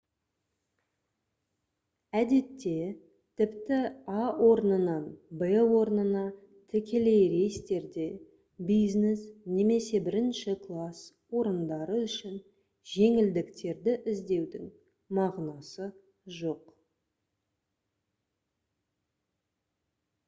әдетте тіпті а орнынан в орнына тікелей рейстерде бизнес немесе бірінші класс орындары үшін жеңілдіктерді іздеудің мағынасы жоқ